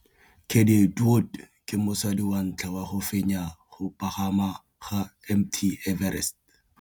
Cathy Odowd ke mosadi wa ntlha wa go fenya go pagama ga Mt Everest.